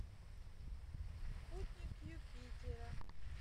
спутник юпитера